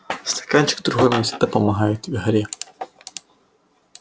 стаканчик другой мне всегда помогает в игре